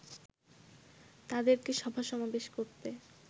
তাদেরকে সভা সমাবেশ করতে